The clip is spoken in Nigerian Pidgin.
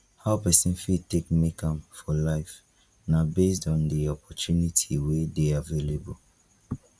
how person fit take make am for life na based on di opportunity wey dey available